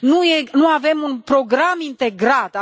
Nu avem un program integrat.